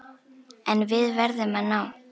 En við verðum að ná